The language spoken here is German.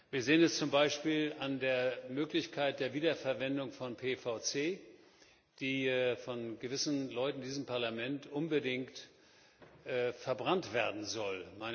Wir sehen es zum Beispiel an der Möglichkeit der Wiederverwendung von PVC, das nach Ansicht gewisser Leute in diesem Parlament unbedingt verbrannt werden sollte.